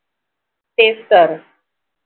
तेच तर